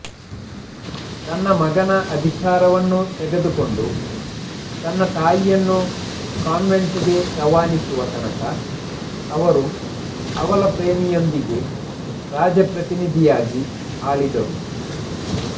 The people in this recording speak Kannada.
ತನ್ನ ಮಗನ ಅಧಿಕಾರವನ್ನು ತೆಗೆದುಕೊಂಡು ತನ್ನ ತಾಯಿಯನ್ನು ಕಾನ್ವೆಂಟ್ಗೆ ರವಾನಿಸುವ ತನಕ ಅವರು ಅವಳ ಪ್ರೇಮಿಯೊಂದಿಗೆ ರಾಜಪ್ರತಿನಿಧಿಯಾಗಿ ಆಳಿದರು